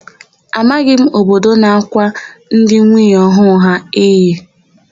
Amaghị m obodo na-ákwà ndị nwunye ọhụụ ha iyi.